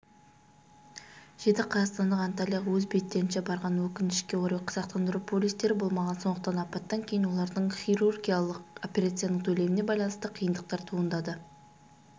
жеті қазақстандық антальяға өз беттерінше барған өкінішке орай сақтандыру полистері болмаған сондықтан апаттан кейін олардың хирургиялық операцияның төлеміне байланысты қиындықтар туындады